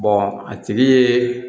a tigi ye